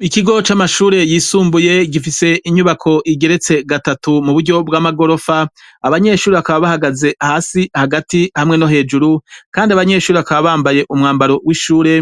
Ikigo c'amashure yisumbuye gifise inyubako igeretse gatatu mu buryo bw'amagorofa abanyeshuri akaba bahagaze hasi hagati hamwe no hejuru, kandi abanyeshuri akaba bambaye umwambaro w'ishure